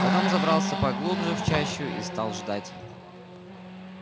потом забрался поглубже в чащу и стал ждать